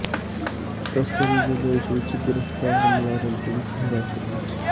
ਤਸਕਰੀ ਦੇ ਦੋਸ਼ ਵਿੱਚ ਗਿ੍ਰਫ਼ਤਾਰ ਮੁਲਜ਼ਮ ਪੁਲੀਸ ਹਿਰਾਸਤ ਵਿੱਚ